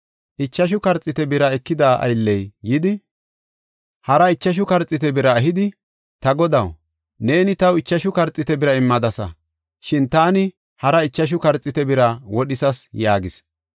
Ichashu karxiite bira ekida aylley yidi, hara ichashu karxiite bira ehidi, ‘Ta godaw, neeni taw ichashu karxiite bira immadasa. Shin taani hara ichashu karxiite bira wodhisas’ yaagis.